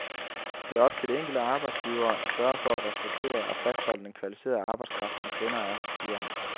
Det er op til de enkelte arbejdsgivere at sørge for at rekruttere og fastholde den kvalificerede arbejdskraft, som kvinder er, siger han.